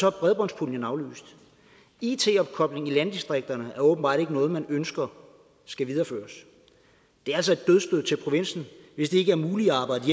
er bredbåndspuljen aflyst it opkobling i landdistrikterne er åbenbart ikke noget man ønsker skal videreføres det er altså et dødsstød til provinsen hvis det ikke er muligt at arbejde